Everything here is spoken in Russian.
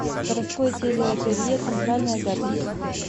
городское телеателье центральное запись